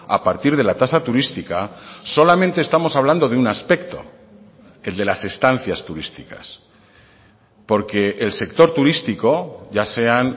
a partir de la tasa turística solamente estamos hablando de un aspecto el de las estancias turísticas porque el sector turístico ya sean